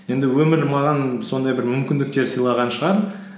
енді өмір маған сондай бір мүмкіндіктер сыйлаған шығар